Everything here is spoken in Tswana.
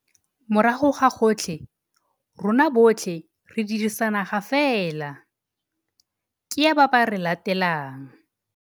Morago ga gotlhe, rona botlhe re dirisa naga fela - ke ya ba ba re latelang.